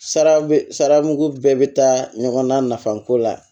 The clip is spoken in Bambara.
Sara mugu bɛɛ bɛ taa ɲɔgɔn na nafa ko la